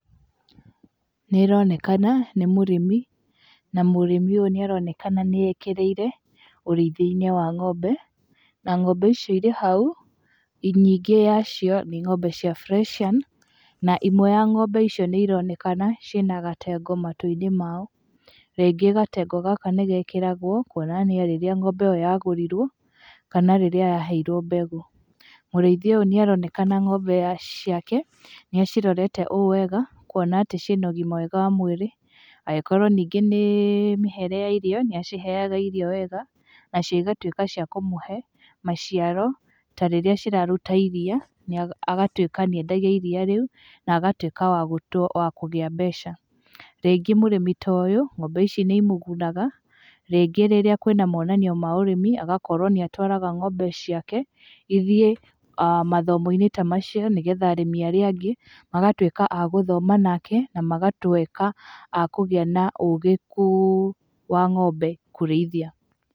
Nĩ ĩronekana nĩ mũrĩmi, na mũrĩmi ũyũ nĩ aronekana nĩ ekĩrĩire ũrĩithia-inĩ wa ng'ombe, na ng'ombe icio irĩ hau, nyingĩ ya cio nĩ ng'ombe cia friesian na imwe ya ng'ombe icio nĩ ironekana ciĩ na gatengo matũ-inĩ mao, rĩngĩ gatengo gaka nĩ gekĩragwo kuonania rĩrĩa ng'ombe iyo yagũrirwo, kana rĩrĩa yaheirwo mbegũ. Mũrĩithia ũyũ nĩ aronekana ng'ombe ciake, nĩ acirorete ũũ wega, kuona atĩ ciĩna ũgima mwega wa mwĩrĩ, angĩkorwo rĩngĩ nĩ mĩhere ya irio, nĩ aciheaga irio wega, nacio igatuĩka cia kũmũhe maciaro ta rĩrĩa ciraruta iria, agatuĩka nĩ endagia iria rĩu na, na agatwĩka wa kũgĩa mbeca. Rĩngĩ mũrĩmi ta ũyũ, ng'ombe ici nĩ imũgunaga, rĩngĩ rĩrĩa kwĩna monanio ma ũrĩmi, agakorwo nĩ atwaraga ng'ombe ciake ithiĩ mathomo-inĩ ta macio nĩgetha arĩmi arĩa angĩ, magatuĩka a gũthoma nake na magatuĩka akũgĩa na ũgĩ kũ wa ng'ombe kũrĩithia.